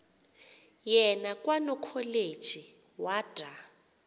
yena kwanokholeji wada